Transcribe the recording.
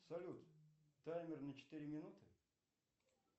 салют таймер на четыре минуты